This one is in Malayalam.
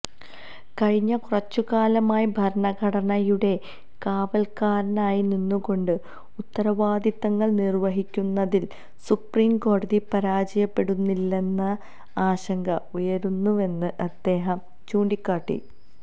കഴിഞ്ഞ കുറച്ചുകാലമായി ഭരണഘടനയുടെ കാവൽക്കാരനായി നിന്നുകൊണ്ട് ഉത്തരവാദിത്തങ്ങൾ നിർവഹിക്കുന്നതിൽ സുപ്രീംകോടതി പരാജയപ്പെടുന്നില്ലേ എന്ന ആശങ്ക ഉയരുന്നുവെന്ന് അദ്ദേഹം ചൂണ്ടിക്കാട്ടി